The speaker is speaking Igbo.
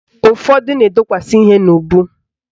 Ụfọdụ na-edokwasi ihe n'ubu